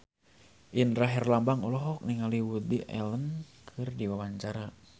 Indra Herlambang olohok ningali Woody Allen keur diwawancara